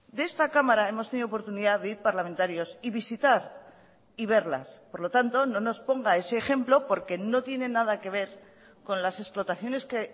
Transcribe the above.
de esta cámara hemos tenido oportunidad de ir parlamentarios y visitar y verlas por lo tanto no nos ponga ese ejemplo porque no tiene nada que ver con las explotaciones que